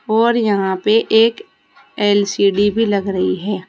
और यहां पे एक एल_सी_डी भी लग रही है।